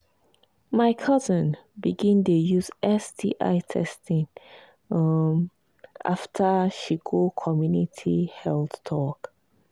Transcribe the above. my cousin begin dey use sti testing um after she go community health talk.